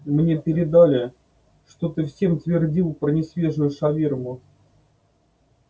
мне передали что ты всем твердил про несвежую шаверму